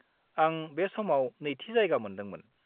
आं बे समाव नैथि जायगा मोनदोंमोन।